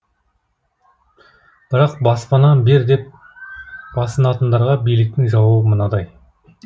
бірақ баспана бер деп басынатындарға биліктің жауабы мынадай